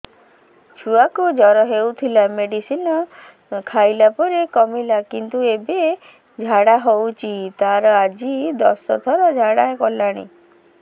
ଛୁଆ କୁ ଜର ହଉଥିଲା ମେଡିସିନ ଖାଇଲା ପରେ କମିଲା କିନ୍ତୁ ଏବେ ଝାଡା ହଉଚି ତାର ଆଜି ଦଶ ଥର ଝାଡା କଲାଣି